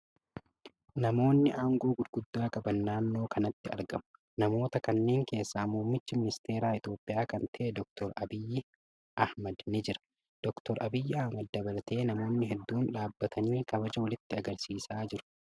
Namootni aangoo gurguddaa qaban naannoo kanatti argamu. Namoota kanneen keessaa muummicha ministeera Itiyoophiyyaa kan ta'e Dr. Abiy Ahmad ni jira. Dr. Abiy Ahmad dabalatee namootni hedduun dhaabbatanii kabaja walitti agarsiisaa jiru.